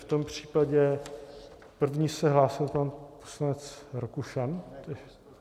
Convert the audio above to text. V tom případě první se hlásil pan poslanec Rakušan.